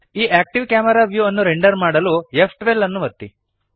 ಈ active camera view ಅನ್ನು render ಮಾಡಲು ಫ್12 ಅನ್ನು ಒತ್ತಿರಿ